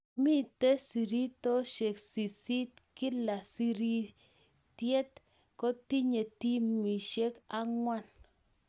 Miito sirityoosyek sisiit, kila sirityeet kotinye timisiek ang'wan